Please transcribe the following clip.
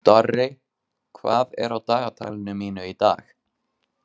Dorri, hvað er á dagatalinu mínu í dag?